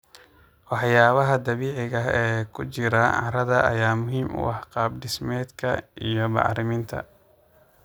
Waxyaabaha dabiiciga ah ee ku jira carrada ayaa muhiim u ah qaab dhismeedka iyo bacriminta.